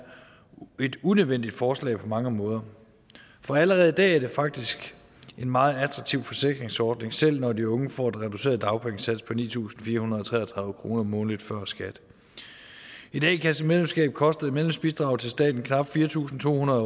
et unødvendigt forslag på mange måder for allerede i dag er det faktisk en meget attraktiv forsikringsordning selv når de unge får en reduceret dagpengesats på ni tusind fire hundrede og tre og tredive kroner månedligt før skat et a kassemedlemskab koster i medlemsbidrag til staten knap fire tusind to hundrede